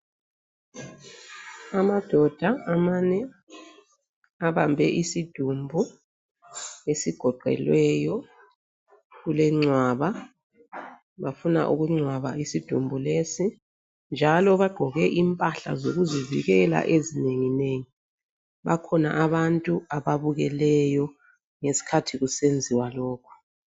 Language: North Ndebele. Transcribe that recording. Amadoda amane abambe isidumbu esigoqelweyo. Kulengcwaba bafuna ukungcwaba isidumbu lesi njalo bagqoke impahla zokuzivikela ezinenginengi. Bakhona abantu ababukeleyo ngesikhathi kusenziwa lokhu.